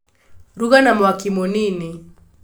Ruga na mwaki mũnini